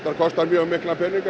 kostar mjög mikla peninga